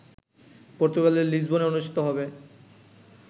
পর্তুগালের লিসবনে অনুষ্ঠিত হবে